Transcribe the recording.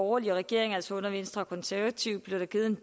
borgerlige regering altså under venstre og konservative blev der givet en